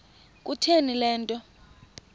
kutheni le nto